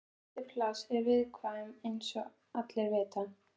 Lítil pláss eru viðkvæm eins og allir vita.